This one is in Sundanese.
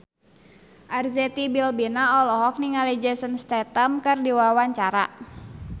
Arzetti Bilbina olohok ningali Jason Statham keur diwawancara